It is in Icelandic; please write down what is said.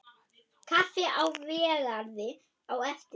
Kaffi í Végarði á eftir.